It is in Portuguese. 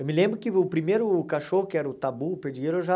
Eu me lembro que o primeiro cachorro que era o tabu, o perdigueiro, eu já...